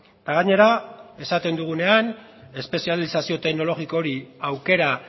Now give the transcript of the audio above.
eta gainera esaten dugunean espezializazio teknologiko hori aukera